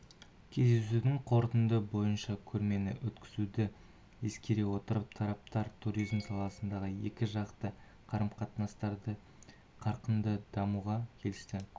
кездесудің қорытындысы бойынша көрмені өткізуді ескере отырып тараптар туризм саласында екіжақты қарым-қатынастарды қарқынды дамытуға келісті